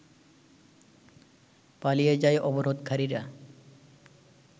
পালিয়ে যায় অবরোধকারীর